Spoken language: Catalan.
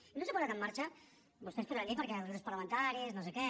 i no s’ha posat en marxa vostès podran dir perquè els grups parlamentaris nosé què